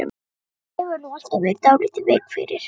Þú hefur nú alltaf verið dálítið veik fyrir